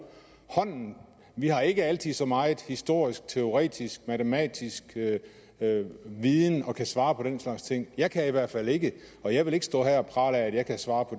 hånden har ikke altid så meget historisk teoretisk og matematisk viden at vi kan svare på den slags ting jeg kan i hvert fald ikke og jeg vil ikke stå her og prale af at jeg kan svare på